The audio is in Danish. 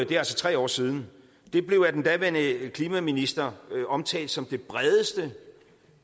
det er altså tre år siden det blev af den daværende klimaminister omtalt som det bredeste